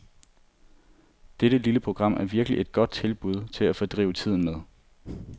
Dette lille program er virkelig et godt tilbud til at fordrive tiden med.